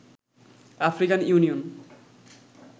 African union